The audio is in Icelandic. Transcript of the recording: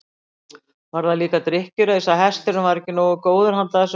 Var það líka drykkjuraus að hesturinn væri ekki nógu góður handa þessum væskli?